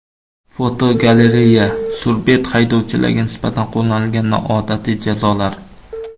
Fotogalereya: Surbet haydovchilarga nisbatan qo‘llanilgan noodatiy jazolar.